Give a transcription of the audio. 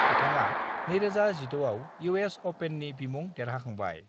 बिथाङा 2016 आव इउएस अपेननि बिमुं देरहाखांबाय।